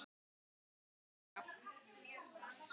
Kæra Ragga.